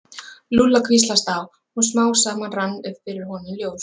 Lúlla hvíslast á og smám saman rann upp fyrir honum ljós.